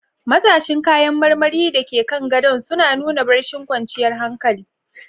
Matashin kayan marmari da ke kan gadon suna nuna barcin kwanciyar hankali.